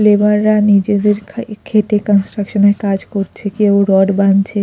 labour -রা নিজেদের খাই খেটে কনস্ট্রাকশন -এর কাজ করছে কেউ রড বানছে--